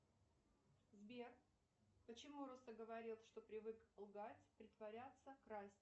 сбер почему говорят что привык лгать притворяться красть